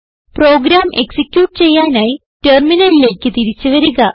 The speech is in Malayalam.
പ്രോഗ്രാം എക്സിക്യൂട്ട് ചെയ്യാനായി ടെർമിനലിലേക്ക് തിരിച്ചു വരിക